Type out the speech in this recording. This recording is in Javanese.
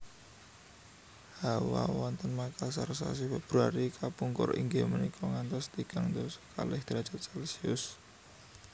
Hawa wonten Makasar sasi Februari kapungkur inggih menika ngantos tigang dasa kalih derajat celcius